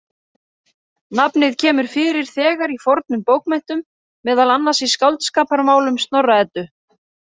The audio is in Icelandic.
Nafnið kemur fyrir þegar í fornum bókmenntum, meðal annars í Skáldskaparmálum Snorra-Eddu.